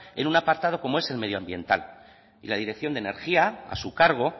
en un apartado como es el medioambiental y la dirección de energía a su cargo